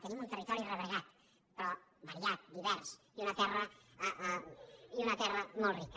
tenim un territori rebregat però variat divers i una terra molt rica